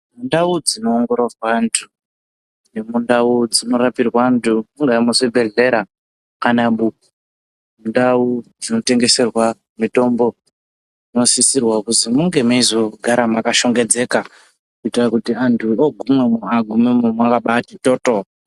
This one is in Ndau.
Ndau dzino ongororwa antu ne mundau dzinorapirwa antu e mu zvibhedhlera kana mundau dzino tengeserwa mitombo inosisirwa kuzi munge meizo gara maka shongedzeka kuiitira kuti antu ogumeyo agumemwo makabaiti toto.